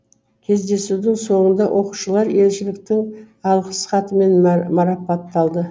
кездесудің соңында оқушылар елшіліктің алғыс хатымен мараптталды